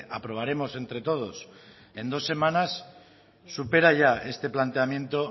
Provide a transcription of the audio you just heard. aprobaremos entre todos en dos semanas supera ya este planteamiento